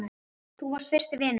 Þú varst fyrsti vinur minn.